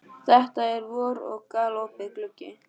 Það er vor og galopinn gluggi.